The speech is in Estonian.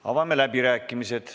Avame läbirääkimised.